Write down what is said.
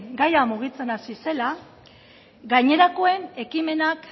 gaia mugitzen hasi zela gainerakoen ekimenak